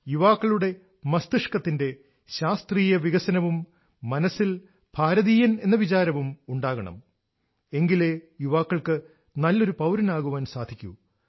യുവാക്കളുടെ മസ്തിഷ്കത്തിന്റെ ശാസ്ത്രീയവികസനവും മനസ്സിൽ ഭാരതീയൻ എന്ന വിചാരവും ഉണ്ടാകണം എങ്കിലേ യുവാക്കൾക്ക് നല്ലൊരു പൌരനാകാൻ സാധിക്കൂ